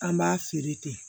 An b'a feere ten